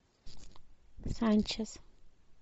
санчес